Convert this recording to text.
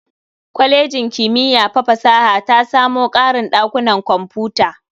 Kwalejin kimiyya fa fasaha ta samu ƙarin ɗakunan kwamfuta.